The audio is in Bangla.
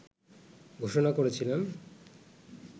ঘোষণা করেছিলেন